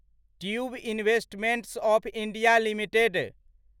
tube investments of India limited